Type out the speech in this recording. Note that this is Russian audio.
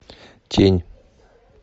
тень